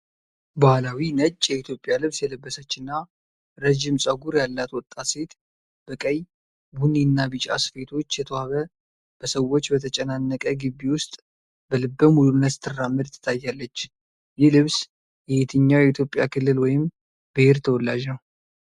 ባህላዊ ነጭ የኢትዮጵያ ልብስ የለበሰችና ረጅም ፀጉር ያላት ወጣት ሴት፣ በቀይ፣ ቡኒ እና ቢጫ ስፌቶች የተዋበ፣ በሰዎች በተጨናነቀ ግቢ ውስጥ በልበ ሙሉነት ስትራመድ ትታያለች። ይህ ልብስ የየትኛው የኢትዮጵያ ክልል ወይም ብሔር ተወላጅ ነው?